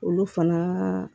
Olu fana